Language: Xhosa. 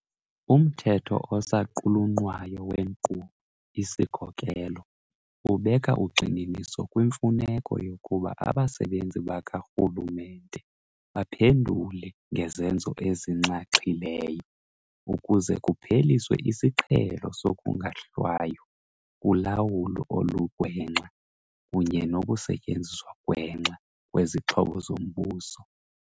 Umthetho osaqulunqwayo weNkqubo-isikhokelo ubeka ugxininiso kwimfuneko yokuba abasebenzi bakarhu lumente baphendule ngezenzo ezinxaxhileyo, ukuze kupheliswe isiqhelo sokungahlwaywa kulawulo olugwenxa kunye nokusetyenziswa gwenxa kwezixhobo zombuso.